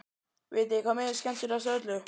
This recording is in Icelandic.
Vitiði hvað mér finnst skemmtilegast af öllu?